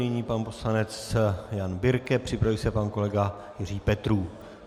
Nyní pan poslanec Jan Birke, připraví se pan kolega Jiří Petrů.